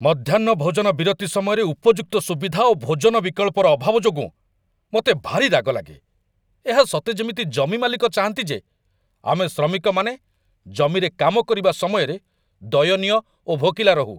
ମଧ୍ୟାହ୍ନ ଭୋଜନ ବିରତି ସମୟରେ ଉପଯୁକ୍ତ ସୁବିଧା ଓ ଭୋଜନ ବିକଳ୍ପର ଅଭାବ ଯୋଗୁଁ ମୋତେ ଭାରି ରାଗ ଲାଗେ ଏହା ସତେ ଯେମିତି ଜମି ମାଲିକ ଚାହାଁନ୍ତି ଯେ ଆମେ ଶ୍ରମିକମାନେ ଜମିରେ କାମ କରିବା ସମୟରେ ଦୟନୀୟ ଓ ଭୋକିଲା ରହୁ।